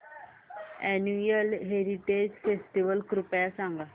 annual heritage festival कृपया सांगा